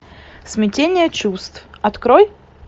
смятение чувств открой